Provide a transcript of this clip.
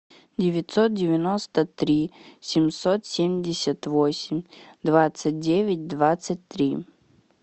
девятьсот девяносто три семьсот семьдесят восемь двадцать девять двадцать три